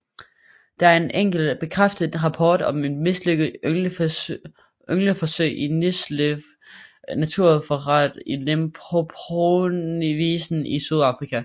Der er en enkelt bekræftet rapport om et mislykket yngleforsøg i Nylsvley naturreservat i Limpopoprovinsen i Sydafrika